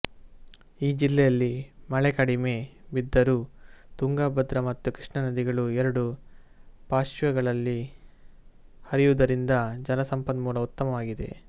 ಈ ಜಿಲ್ಲೆಯಲ್ಲಿ ಮಳೆ ಕಡಿಮೆ ಬಿದ್ದರೂ ತುಂಗಭದ್ರಾ ಮತ್ತು ಕೃಷ್ಣಾ ನದಿಗಳು ಎರಡೂ ಪಾಶ್ರ್ವಗಳಲ್ಲಿ ಹರಿಯುವುದರಿಂದ ಜಲ ಸಂಪನ್ಮೂಲ ಉತ್ತಮವಾಗಿದೆ